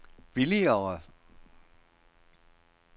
billigere